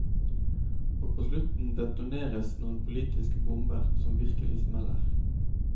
Og på slutten detoneres noen politiske bomber som virkelig smeller.